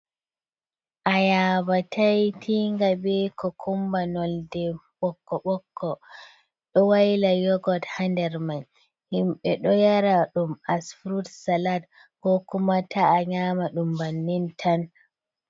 Ayaba tai'tinga be kokumba(cocumber) nolde ɓokko-ɓokko. Ɗo waila yurgot ha nder man. Himɓe ɗo yara ɗum as fruit salad ko kuma ta'a nyama ɗum bannin tan.